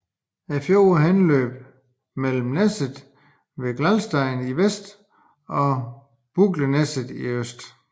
Fjorden har indløb mellem Neset ved Gjellstein i vest og Bolungneset i øst